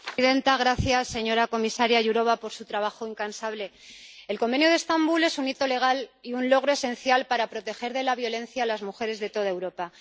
Señora presidenta gracias, señora comisaria Jourová por su trabajo incansable. El Convenio de Estambul es un hito legal y un logro esencial para proteger de la violencia a las mujeres de toda Europa.